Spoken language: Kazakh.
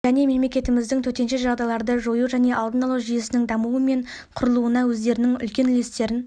және мемлекетіміздің төтенше жағдайларды жою және алдын алу жүйесінің дамуы мен құрылуына өздерінің үлкен үлестерін